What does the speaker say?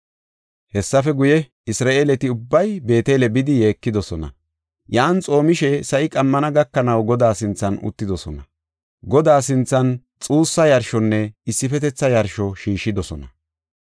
Hessafe guye, Isra7eeleti ubbay Beetele bidi yeekidosona; yan xoomishe sa7i qammana gakanaw, Godaa sinthan uttidosona. Godaa sinthan xuussa yarshonne issifetetha yarsho shiishidosona.